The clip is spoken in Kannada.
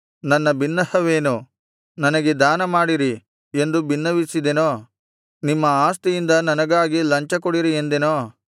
ನನ್ನ ಬಿನ್ನಹವೇನು ನನಗೆ ದಾನಮಾಡಿರಿ ಎಂದು ಬಿನ್ನವಿಸಿದೆನೋ ನಿಮ್ಮ ಆಸ್ತಿಯಿಂದ ನನಗಾಗಿ ಲಂಚಕೊಡಿರಿ ಎಂದೆನೋ